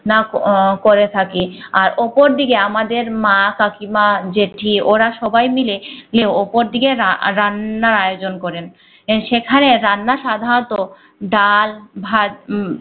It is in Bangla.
নাক ও করে থাকি আর উপর দিকে আমাদের মা কাকিমা জ্যেঠি ওরা সবাই মিলে গিয়ে উপর দিকে রা রান্নার আয়োজন করেন সেখানে রান্না সাধাণত ডাল ভাঁজ উম